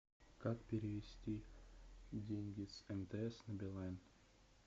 как перевести деньги с мтс на билайн